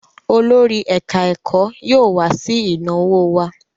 Olórí ẹ̀ká-ẹ̀kọ́ yóò wá sí ìnáwó wa